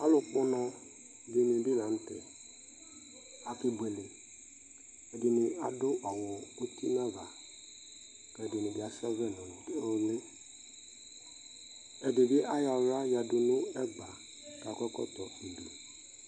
Alʋ kpɔnɔ dini bi ka n'tɛ, akebuele Ɛdini adʋ awʋ uti n'ava, k'ɛdini bi as'ɔvlɛ nʋ ʋli Ɛdi bi ayɔ aɣla yǝdʋ nʋ ɛgba k'akɔ ɛkɔtɔ